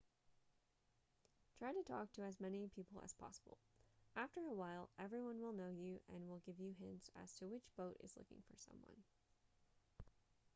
try to talk to as many people as possible after a while everyone will know you and will give you hints as to which boat is looking for someone